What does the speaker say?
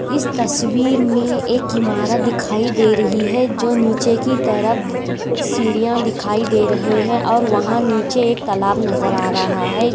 इस तस्वीर में एक इमारत दिखाई दे रही है जो नीचे की तरफ सीडीया दिखाई दे रहे है और वहा नीचे एक तलाव नज़र आ रहा है।